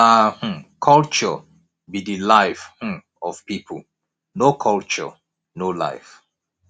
na um culture be de life um of people no culture no life